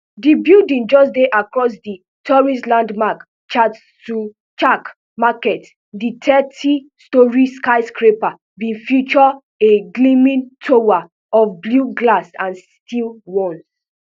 di building just dey across the the tourist landmark chatuchak market di thirty storey skyscraper bin feature a gleaming tower of blue glass and steel one